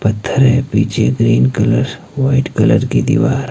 पत्थर है पीछे ग्रीन कलर वाइट कलर की दीवार--